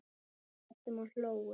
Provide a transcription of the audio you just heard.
Grétum og hlógum.